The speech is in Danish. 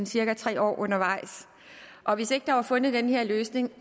cirka tre år undervejs og hvis ikke der var fundet den her løsning